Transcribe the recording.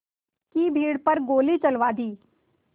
की भीड़ पर गोली चलवा दी